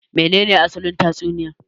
Me ne ne asalin tatsuniya